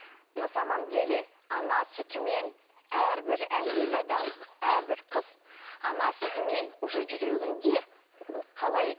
на самом деле ана сүтімен әрбір әйел адам әрбір қыз ана сүтімен уже жүрегінде қалай